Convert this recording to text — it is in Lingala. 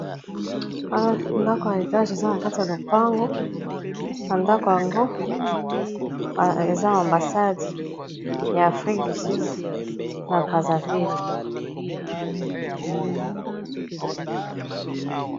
Ndako ya etage eza na kati ya lopango na ndako yango eza ambasade ya afrique du sud na Brazzaville.